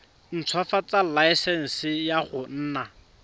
ntshwafatsa laesense ya go nna